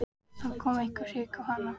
Þá kom eitthvert hik á hana.